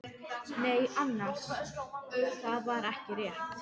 Nei annars, það var ekki rétt.